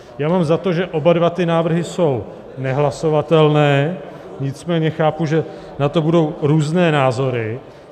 Já mám za to, že oba dva ty návrhy jsou nehlasovatelné, nicméně chápu, že na to budou různé názory.